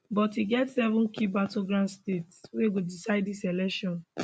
but e get seven key battleground states wey go decide dis election